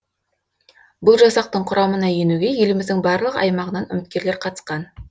бұл жасақтың құрамына енуге еліміздің барлық аймағынан үміткерлер қатысқан